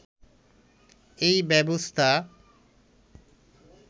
এই ব্যবস্থা